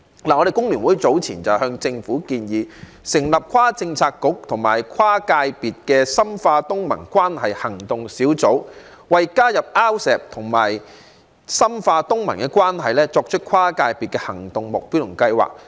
香港工會聯合會早前向政府建議成立跨政策局和跨界別的深化東盟關係行動小組，為加入 RCEP 和深化東盟關係作出跨界別的行動目標和計劃。